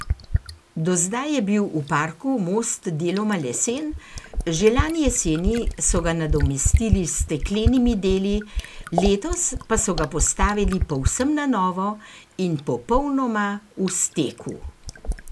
Do zdaj je bil v parku most deloma lesen, že lani jeseni so ga nadomestili s steklenimi deli, letos pa so ga postavili povsem na novo in popolnoma v steku.